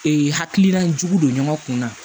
hakilila jugu don ɲɔgɔn kun na